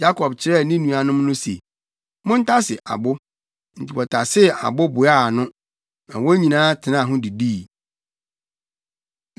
Yakob kyerɛɛ ne nuanom no se, “Montase abo!” Enti wɔtasee abo boaa ano, na wɔn nyinaa tenaa ho didii.